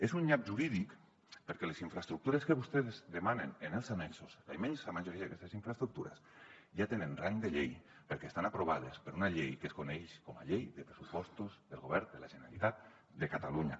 és un nyap jurídic perquè les infraestructures que vostès demanen en els annexos la immensa majoria d’aquestes infraestructures ja tenen rang de llei perquè estan aprovades per una llei que es coneix com a llei de pressupostos del govern de la generalitat de catalunya